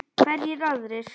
Hverjir aðrir?